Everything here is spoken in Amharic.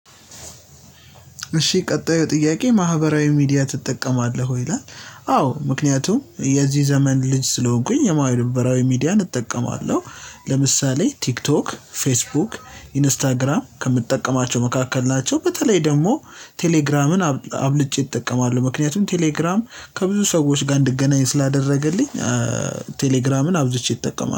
እሺ ቀጣዩ ጥያቄ ማህበራዊ ሚዲያ ትጠቀማለህ ወይ ይላል? አዎ ምክንያቱም የዚህ ዘመን ልጅ ስለሆንኩኝ የማህበራዊ ሚዲያን እጠቀማለሁ። ለምሳሌ ቲክቶክ ፌስቡክ ኢንስታግራም ከምጠቀማቸው መካከል ናቸው። በተለይ ደግሞ ቴሌግራምን አብልጬ እጠቀማለሁ። ምክንያቱም ቴሌግራም ከብዙ ሰዎች ጋር እንድገናኝ ስላደረገልኝ ቴሌግራምን አብዝቼ እጠቀማለሁ